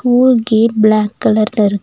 school gate black கலர்ல இரு--